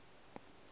se tsee ba se iše